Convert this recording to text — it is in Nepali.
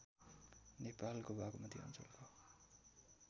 नेपालको बागमती अञ्चलको